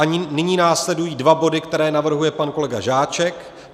A nyní následují dva body, které navrhuje pan kolega Žáček.